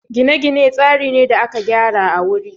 gine-gine tsari ne da aka gyara a wuri